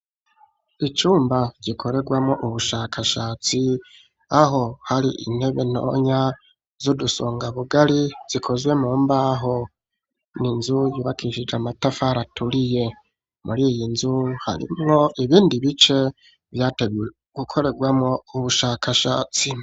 Icumba gikoregwamo ubushakashatsi aho hari intebe ntonya z'udusonga bugari zikozwe mu mbaho n'inzu yubakishije matafari aturiye muri iyi nzu harimwo ibindi bice vyategwe gukoregwamo ubushakashatsi.